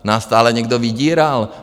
Nás stále někdo vydíral.